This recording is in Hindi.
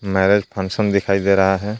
मैरिज फंक्शन दिखाई दे रहा है।